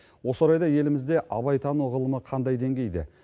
осы орайда елімізде абайтану ғылымы қандай деңгейде